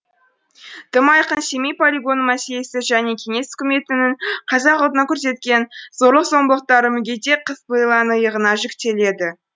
тым айқын семей полигоны мәселесі және кеңес үкіметінің қазақ ұлтына көрсеткен зорлық зомбылықтары мүгедек қыз лейланың иығына жүктеледі